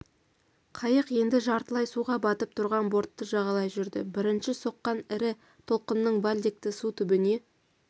қайық енді жартылай суға батып тұрған бортты жағалай жүрді бірінші соққан ірі толқынның вальдекті су түбіне